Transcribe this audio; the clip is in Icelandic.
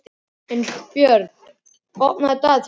Unnbjörn, opnaðu dagatalið mitt.